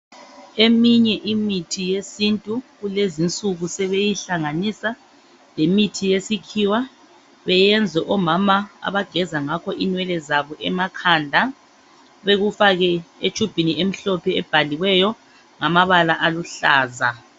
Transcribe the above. Eminye imithi yesintu kulezinsuku sebeyihlanganisa lemithi yesikhiwa beyenze omama abageza ngakho inwele zabo emakhanda bekufake e tshubhini emhlophe ebhaliweyo ngamabala aluhlaza